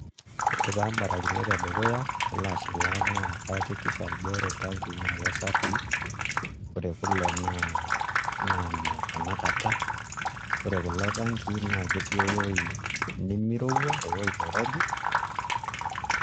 Ore taa imbarakinot edukuya nalo ashilaa naa kayakikisha ajo ore iltanii naa kesafii ore kule naa ine tanakata ore kulo tankii naa ketii ewuei nemirowua ewuei nirobi.